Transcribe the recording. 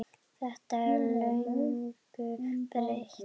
Þetta er löngu breytt?